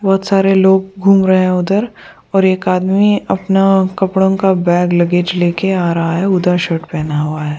बहुत सारे लोग घूम रहे हैं उधर और एक आदमी अपना कपड़ों का बैग लगेज लेके आ रहा है उदा शर्ट पहना हुआ है।